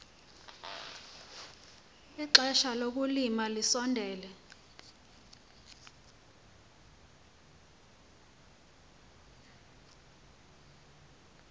ixesha lokulima lisondele